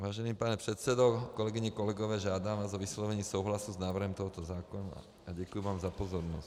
Vážený pane předsedo, kolegyně, kolegové, žádám vás o vyslovení souhlasu s návrhem tohoto zákona a děkuji vám za pozornost.